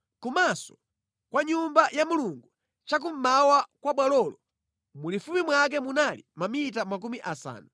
Kumaso kwa Nyumba ya Mulungu chakummawa kwa bwalolo mulifupi mwake munali mamita makumi asanu.